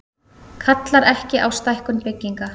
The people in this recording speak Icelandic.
Kallar ekki á stækkun bygginga